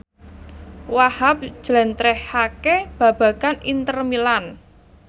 Wahhab njlentrehake babagan Inter Milan